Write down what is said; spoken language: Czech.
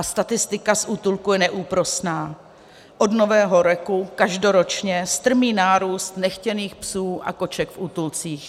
A statistika z útulků je neúprosná: od Nového roku každoročně strmý nárůst nechtěných psů a koček v útulcích.